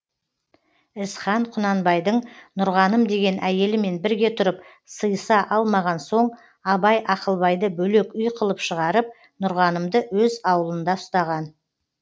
ізхан құнанбайдың нұрғаным деген әйелімен бірге тұрып сыйыса алмаған соң абай ақылбайды бөлек үй қылып шығарып нұрғанымды өз аулында ұстаған